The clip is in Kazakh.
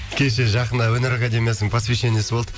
кеше жақында өнер академиясының посвящениесі болды